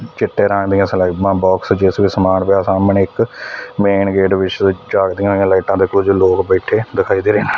ਚਿੱਟੇ ਰੰਗ ਦਿਆਂ ਸਲੈਬਾਂ ਬੌਕਸ ਜਿਸ ਵਿੱਚ ਸਮਾਨ ਪਿਆ ਸਾਹਮਣੇ ਇੱਕ ਮੇਨ ਗੇਟ ਵਿੱਚ ਜਗਦੀਆਂ ਹੋਈਆਂ ਲਾਈਟਾਂ ਤੇ ਕੁਝ ਲੋਗ ਬੈਠੇ ਦਿਖਾਈ ਦੇ ਰਹੇ ਹਨ।